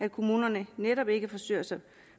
i kommunerne netop ikke forsøgte sig